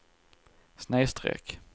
snedsträck